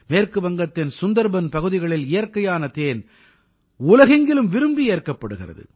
மேற்கு வங்கத்தின் சுந்தர்பன் பகுதிகளில் இயற்கையான தேன் உலகெங்கிலும் விரும்பி ஏற்கப்படுகிறது